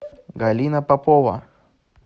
галина попова